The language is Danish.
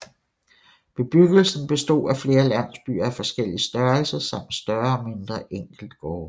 Bebyggelsen bestod af flere landsbyer af forskellig størrelse samt større og mindre enkeltgårde